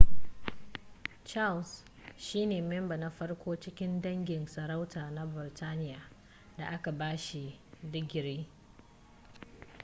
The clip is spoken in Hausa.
charles shi ne memba na farko cikin dangin sarauta na burtaniya da aka ba shi digiri